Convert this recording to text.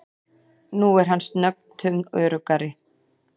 Nú er hann snöggtum öruggari.